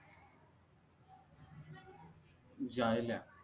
जायल्या